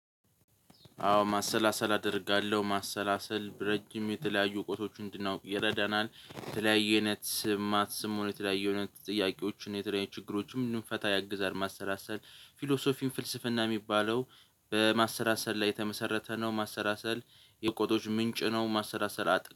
አዎ ማሰላሰል አደርጋለሁ ማሰላሰል ረጅም የተለያዩ እውቀቶች እንድናውቅ ይረዳናል የተለየ አይነት ስም ማትስም ሆነ የተለያዩ አይነት ጥያቄዎችን የተለያዩ ችግሮችን እንድንፈታ ያግዛል። ማሰላሰል ፊሎሶፊን ፍልስፍና የሚባለው በማሰላሰል ላይ የተመሰረተ ነው። ማሰላሰል የእውቆቶች ምንጭ ነው። ማሰላሰል